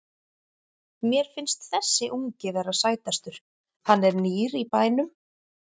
Mér finnst þessi ungi vera sætastur, hann er nýr í bænum.